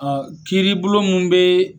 Ɔ kiiribulon min bɛ